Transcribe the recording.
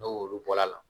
N'o olu bɔr' la